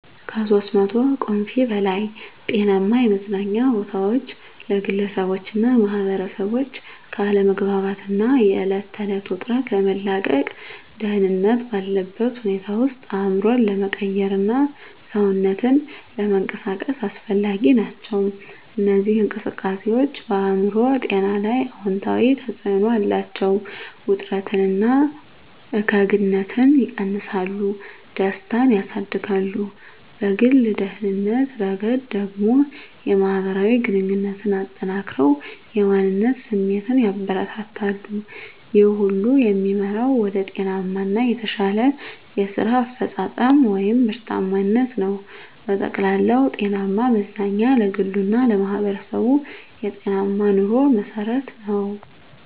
(ከ300 ቁምፊ በላይ) ጤናማ የመዝናኛ ቦታዎች ለግለሰቦችና ማኅበረሰቦች ከአለመግባባት እና የዕለት ተዕለት ውጥረት ለመላቀቅ፣ ደህንነት ባለበት ሁኔታ ውስጥ አእምሮን ለመቀየርና ሰውነትን ለመንቀሳቀስ አስፈላጊ ናቸው። እነዚህ እንቅስቃሴዎች በአእምሮ ጤና ላይ አዎንታዊ ተጽዕኖ አላቸው፤ ውጥረትን እና እከግንነትን ይቀንሳሉ፣ ደስታን ያሳድጋሉ። በግል ደህንነት ረገድ ደግሞ፣ የማህበራዊ ግንኙነትን አጠናክረው የማንነት ስሜትን ያበረታታሉ። ይህ ሁሉ የሚመራው ወደ ጤናማ እና የተሻለ የስራ አፈጻጸም (ምርታማነት) ነው። በጠቅላላው፣ ጤናማ መዝናኛ ለግሉ እና ለማህበረሰቡ የጤናማ ኑሮ መሠረት ነው።